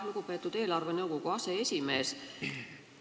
Lugupeetud eelarvenõukogu aseesimees!